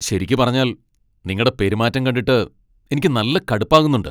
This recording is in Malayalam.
ശരിക്ക് പറഞ്ഞാൽ, നിങ്ങടെ പെരുമാറ്റം കണ്ടിട്ട് എനിക്ക് നല്ല കടുപ്പാകുന്നുണ്ട്.